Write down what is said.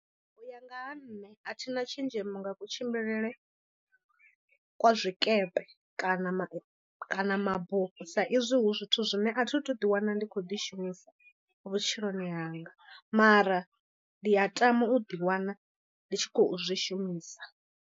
U ya nga ha nṋe a thi na tshenzhemo nga kutshimbilele kwa zwikepe kana kana mabufho sa izwi hu zwithu zwine a thi thu ḓi wana ndi khou ḓi shumisa vhutshiloni hanga mara ndi a tama u ḓi wana ndi tshi khou zwi shumisa.